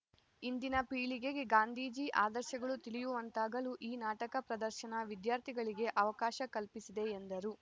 ಇಂದಿನ ಪೀಳಿಗೆಗೆ ಗಾಂಧೀಜಿ ಆದರ್ಶಗಳು ತಿಳಿಯುವಂತಾಗಲು ಈ ನಾಟಕ ಪ್ರದರ್ಶನ ವಿದ್ಯಾರ್ಥಿಗಳಿಗೆ ಅವಕಾಶ ಕಲ್ಪಿಸಿದೆ ಎಂದರು